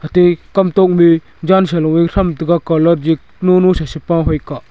te kamtok te ma jansa lung tham tega calat je nung nung sa sapoi phai kah.